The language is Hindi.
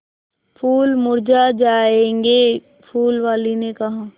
फूल मुरझा जायेंगे फूल वाली ने कहा